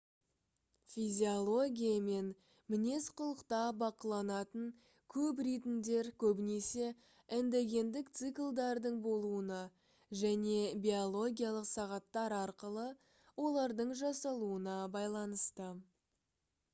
физиология мен мінез-құлықта бақыланатын көп ритмдер көбінесе эндогендік циклдардың болуына және биологиялық сағаттар арқылы олардың жасалуына байланысты